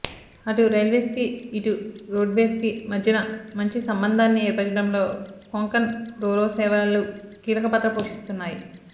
అటు రైల్వేస్కి ఇటు రోడ్వేస్కి మధ్యన మంచి సంబంధాన్ని ఏర్పచడంలో కొంకణ్ రోరో సేవలు కీలక పాత్ర పోషిస్తున్నాయి